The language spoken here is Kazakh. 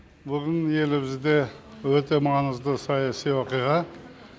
бүгін елімізде өте маңызды саяси оқиға